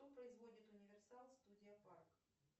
кто производит универсал студия парк